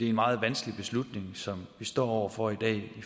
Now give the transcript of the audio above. en meget vanskelig beslutning som vi står over for i dag i